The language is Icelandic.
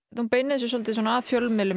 þið beinið þessu að fjölmiðlum